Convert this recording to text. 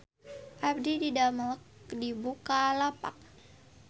Abdi didamel di Bukalapak